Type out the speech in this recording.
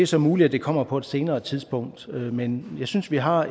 så muligt at det kommer på et senere tidspunkt men jeg synes vi har